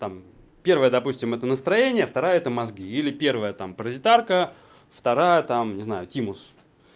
там первая допустим это настроение вторая это мозги или первая там паразитарка вторая там не знаю тимус